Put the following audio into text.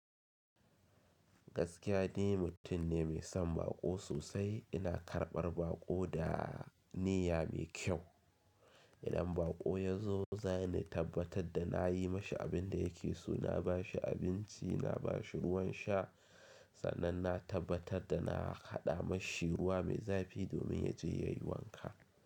Gaskiya ni mutum ne mai son baƙo sosai. Ina karɓar baƙo da niyya mai kyau. Idan baƙo ya zo, za ni tabbatar da na yi mashu abin da ya ke so, na ba shi abinci, na ba shi ruwan sha, sannan na tabbatar da na haɗa mashi ruwa mai zafi domin ya je ya yi wanka.